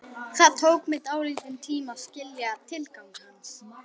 Það tók mig dálítinn tíma að skilja tilgang hans.